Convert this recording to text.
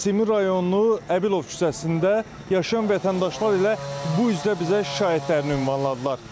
Nəsimi rayonu Əbilov küçəsində yaşayan vətəndaşlar elə bu üzdə bizə şikayətlərini ünvanladılar.